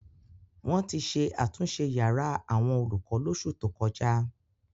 Wọ́n ti ṣe àtúnṣe yàrá àwọn olùkọ lóṣù tó kọjá.